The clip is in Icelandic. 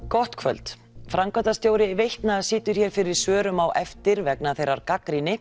gott kvöld framkvæmdastjóri Veitna situr hér fyrir svörum á eftir vegna þeirrar gagnrýni